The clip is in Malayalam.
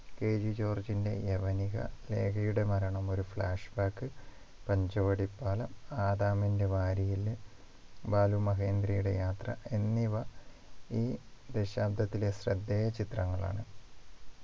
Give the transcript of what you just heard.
KG ജോർജിന്റെ യവനിക ലേഖയുടെ മരണം ഒരു flashback പഞ്ചവടി പാലം ആദാമിൻ്റെ വാരിയെല്ല് ബാലു മഹേന്ദ്രയുടെ യാത്ര എന്നിവ ഈ ദശാബ്ദത്തിലെ ശ്രദ്ധേയ ചിത്രങ്ങളാണ്